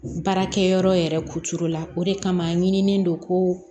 Baarakɛ yɔrɔ yɛrɛ kucola o de kama ɲinini don ko